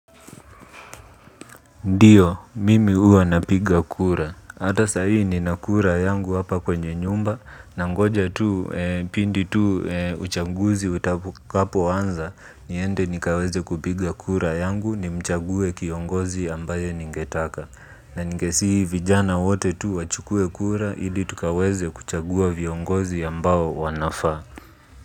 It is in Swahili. Ndiyo, mimi huwa napiga kura. Hata sahii nina kura yangu hapa kwenye nyumba, na ngoja tu, pindi tu, uchaguzi utakapo anza, niende nikaweze kupiga kura yangu, ni mchague kiongozi ambaye ningetaka. Na ningesihi vijana wote tu wachukue kura ili tukaweze kuchagua viongozi ambao wanafaa.